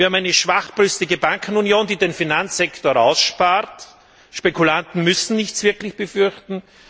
Wir haben eine schwachbrüstige Bankenunion, die den Finanzsektor ausspart, Spekulanten müssen nicht wirklich etwas befürchten.